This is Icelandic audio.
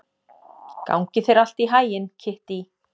Gangi þér allt í haginn, Kittý.